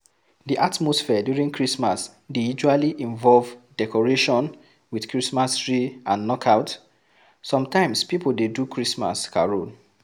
Di atmosphere during christmas dey usually involve decoration with christmas tree and knockout, some times pipo dey do christmas carol